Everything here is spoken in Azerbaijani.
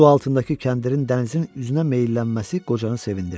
Su altındakı kəndirin dənizin üzünə meyllənməsi qocanı sevindirdi.